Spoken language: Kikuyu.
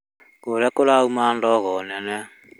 Kũrĩa kũrauma ndogo nene